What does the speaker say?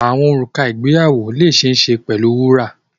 Wedding rings can be made of gold